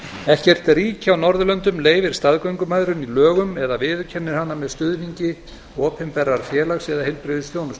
ekkert ríki í norðurlöndum leyfir staðgöngumæðrun í lögum eða viðurkennir hana með stuðningi opinberrar félags eða heilbrigðisþjónustu